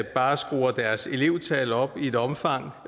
bare skruer deres elevtal op i et omfang